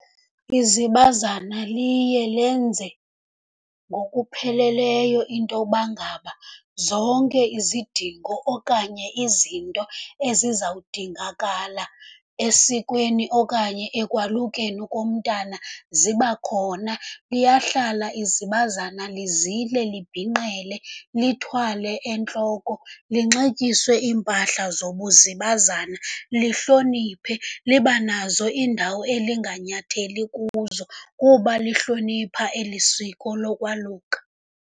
Izibazana liye lenze ngokupheleleyo into uba ngaba zonke izidingo okanye izinto ezizawudingakala esikweni okanye ekwalukeni komntana zibakhona. Liyahlala izibazana lizile, libhinqele, lithwale entloko, linxityiswe iimpahla zobuzibazana, lihloniphe, liba nazo iindawo elinganyatheli kuzo kuba lihlonipha eli siko lokwaluka.